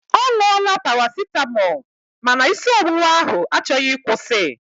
Ọ ṅụọla parasịtamọọl ma na isi ọwụwa ahụ achọghị ịkwụsi.